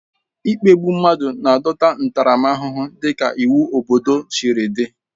Ikpe igbu mmadụ na-adọta ntaramahụhụ dịka iwu obodo siri dị.